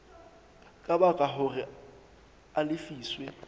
ka baka hore a lefiswe